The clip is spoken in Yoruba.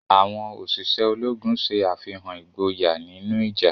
Awọn oṣiṣẹ Ológùn ṣe àfihàn ìgboyà nínú ìjà.